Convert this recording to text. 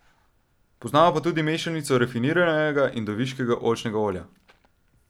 Poznamo pa tudi mešanico rafiniranega in deviškega oljčnega olja.